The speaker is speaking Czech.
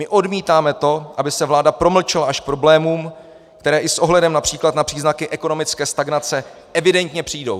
My odmítáme to, aby se vláda promlčela až k problémům, které i s ohledem například na příznaky ekonomické stagnace evidentně přijdou.